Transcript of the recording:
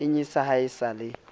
inyatsa ha e sa le